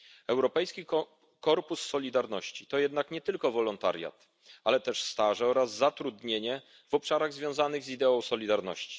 Europejski Korpus Solidarności to jednak nie tylko wolontariat, ale też staże oraz zatrudnienie w obszarach związanych z ideą solidarności.